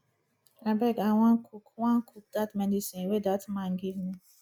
abeg i wan cook wan cook dat medicine dat man give me